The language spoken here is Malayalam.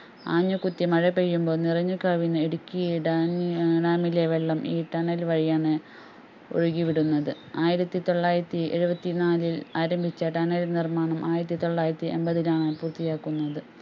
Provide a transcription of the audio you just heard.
ആഞ്ഞു കുത്തി മയപെയ്യുമ്പോ നിറഞ്ഞുകവിയുന്ന ഇടുക്കി ഡാ dam ലെ ഈ tunnel വഴിയാണ് ഒഴുക്കിവിടുന്നത് ആയിരത്തിതൊള്ളായിരത്തി എഴുപതിന്നാലിൽ ആരംഭിച്ച tunnel നിർമാണം ആയിരത്തിതൊള്ളായിരത്തി അമ്പതിലാണ് പൂർത്തിയാക്കുന്നത്